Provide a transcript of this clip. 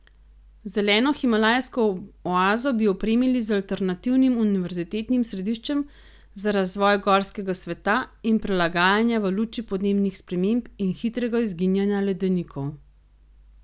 Zeleno himalajsko oazo bi opremili z alternativnim univerzitetnim središčem za razvoj gorskega sveta in prilagajanja v luči podnebnih sprememb in hitrega izginjanja ledenikov.